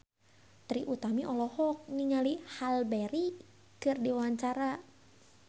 Trie Utami olohok ningali Halle Berry keur diwawancara